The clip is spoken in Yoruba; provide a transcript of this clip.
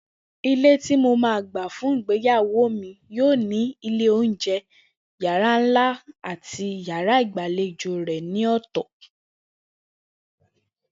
Ilé tí mo máa gbà fún ìgbéyàwó mi yóò ní ilé oúnje̩, yàrá ńlá àti yàrá ìgbàlejò rè̩ ní ò̩tò̩